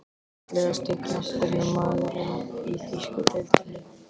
Fallegasti knattspyrnumaðurinn í þýsku deildinni?